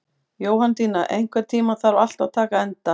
Jóhanndína, einhvern tímann þarf allt að taka enda.